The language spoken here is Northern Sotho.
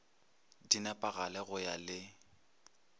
di nepagale go ya le